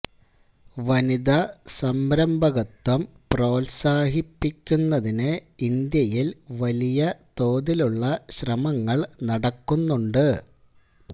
വനിതാ സംരംഭകത്വം പ്രോത്സാഹിപ്പിക്കുന്നതിന് ഇന്ത്യയിൽ വലിയ തോതിലുള്ള ശ്രമങ്ങൾ നടക്കുന്നുണ്ട്